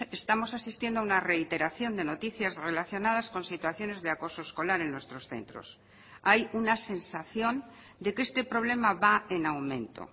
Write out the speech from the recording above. estamos asistiendo a una reiteración de noticias relacionadas con situaciones de acoso escolar en nuestros centros hay una sensación de que este problema va en aumento